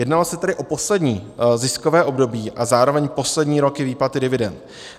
Jednalo se tedy o poslední ziskové období a zároveň poslední roky výplaty dividend.